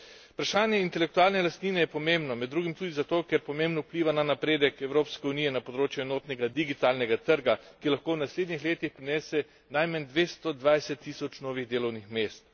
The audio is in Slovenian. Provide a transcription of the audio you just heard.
Vprašanje intelektualne lastnine je pomembno, med drugim tudi zato, ker pomembno vpliva na napredek Evropske unije na področju enotnega digitalnega trga, ki lahko v naslednjih letih prinese najmanj 220 tisoč novih delovnih mest.